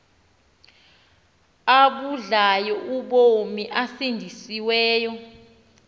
abudlayo ubomi osindisiweyo